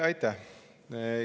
Aitäh!